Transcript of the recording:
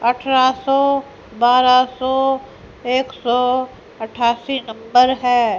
अठरह सौ बारह सौ एक सौ अठ्ठासी नंबर है।